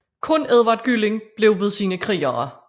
Kun Edvard Gylling blev ved sine krigere